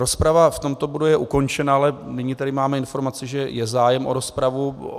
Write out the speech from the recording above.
Rozprava v tomto bodu je ukončena, ale nyní tady máme informaci, že je zájem o rozpravu.